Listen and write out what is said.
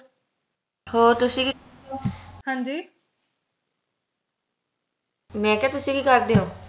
ਹੋਰ ਤੁਸੀਂ ਕਿ ਮੈਂ ਕਿਹਾ ਤੁਸੀਂ ਕਿ ਕਰਦੇ ਹੋ